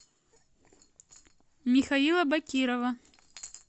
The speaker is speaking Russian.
михаила бакирова